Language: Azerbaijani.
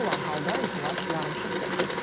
Belə olan halda iclas yarımçıq kəsilib.